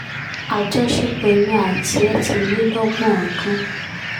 àjọṣepọ̀ èmi àti ẹ̀ ti lé lọ́gbọ̀n ọdún